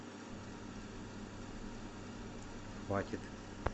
хватит